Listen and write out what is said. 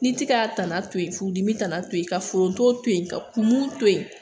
Ni tɛ k'a tana to yen furudimi tana to yen ka foronto to yen ka kumu to yen